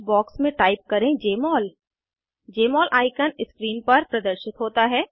search box में type करें Jmol Jmol icon screen पर प्रदर्शित होता है